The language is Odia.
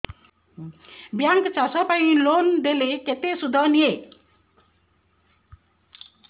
ବ୍ୟାଙ୍କ୍ ଚାଷ ପାଇଁ ଲୋନ୍ ଦେଲେ କେତେ ସୁଧ ନିଏ